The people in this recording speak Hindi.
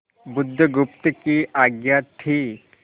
बुधगुप्त की आज्ञा थी